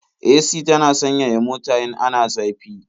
AC tana sanyaya mota in ana zafi.